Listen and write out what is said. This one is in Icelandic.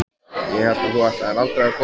Ég hélt að þú ætlaðir aldrei að koma.